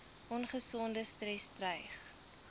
ongesonde stres dreig